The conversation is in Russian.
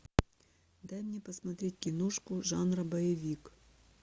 дай мне посмотреть кинушку жанр боевик